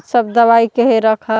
सब दवाई के हे रख--